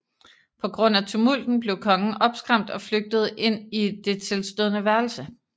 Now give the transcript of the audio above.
På grund af tumulten blev kongen opskræmt og flygtede ind i det tilstødende værelse